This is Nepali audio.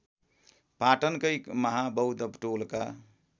पाटनकै महाबौद्ध टोलका